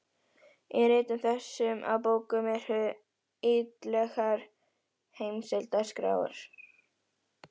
Í ritum þessum og bókum eru ýtarlegar heimildaskrár.